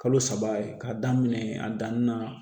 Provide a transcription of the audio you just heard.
Kalo saba ye k'a daminɛ a danni na